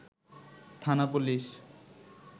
থানা পুলিশ